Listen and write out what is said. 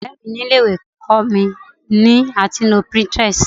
ọrẹ mi ni ilé ìwé kó mi ni a ti nlo pinterest